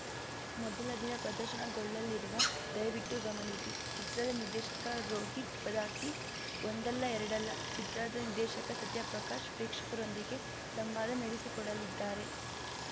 ಮೊದಲ ದಿನ ಪ್ರದರ್ಶನಗೊಳ್ಳಲಿರುವ ದಯವಿಟ್ಟು ಗಮನಿಸಿ ಚಿತ್ರದ ನಿರ್ದೇಶಕ ರೋಹಿತ್‌ ಪದಕಿ ಒಂದಲ್ಲಾ ಎರಡಲ್ಲಾ ಚಿತ್ರದ ನಿರ್ದೇಶಕ ಸತ್ಯ ಪ್ರಕಾಶ್‌ ಪ್ರೇಕ್ಷಕರೊಂದಿಗೆ ಸಂವಾದ ನಡೆಸಿಕೊಡಲಿದ್ದಾರೆ